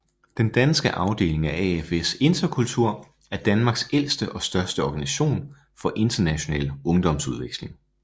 Den danske afdeling AFS Interkultur er Danmarks ældste og største organisation for international ungdomsudveksling